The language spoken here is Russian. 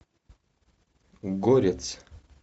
горец